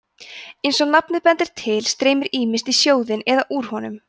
eins og nafnið bendir til streymir ýmist í sjóðinn eða úr honum